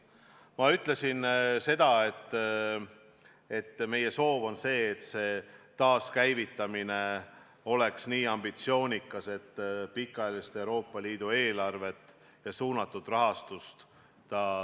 Ma ütlesin seda, et meie soov on see, et taaskäivitamine oleks nii ambitsioonikas, et selle kava kaudu toetataks pikaajalist Euroopa Liidu eelarvet ja suunatud rahastust.